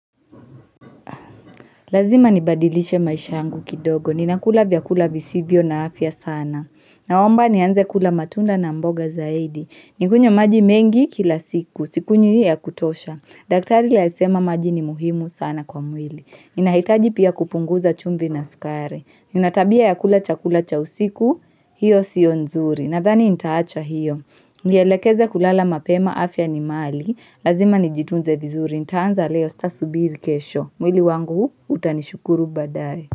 Lazima nibadilishe maisha yangu kidogo. Ninakula vyakula visivyo na afya sana. Naomba ni anze kula matunda na mboga zaidi. Nikunywe maji mengi kila siku. Sikunywi ya kutosha. Daktari alisema maji ni muhimu sana kwa mwili. Ninahitaji pia kupunguza chumvi na sukari Ninatabia ya kula chakula cha usiku hiyo siyo nzuri Nadhani nitaacha hiyo Nielekeze kulala mapema afya ni mali Lazima nijitunze vizuri Nitaanza leo sitasubiri kesho mwili wangu utanishukuru baadaye.